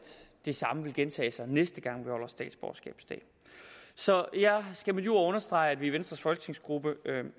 det samme vil gentage sig næste gang vi holder statsborgerskabsdagen så jeg skal med de ord understrege at vi i venstres folketingsgruppe